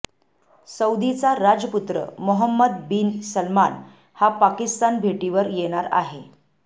सौदीचा राजपुत्र Mohammed bin Salman हा पाकिस्तानभेटीवर येणार आहे